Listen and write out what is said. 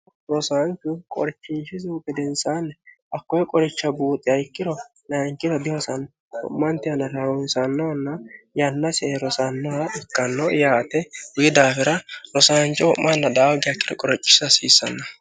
rosaanchu qorichinshisihu bedensaanne hakkoe qoricha buuxiha ikkiro nayinkiro dihosanno ho'manti hanna raunsannohonna yannasihe rosannoha ikkanno yaate wi daafira rosaancho ho'manna daawagi aikkiro qorichisa hasiissanno